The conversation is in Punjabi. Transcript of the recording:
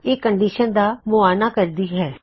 ਇਹ ਇੱਕ ਕੰਡੀਸ਼ਨ ਦਾ ਮੁਆਇਨਾ ਕਰਦੀ ਹੈ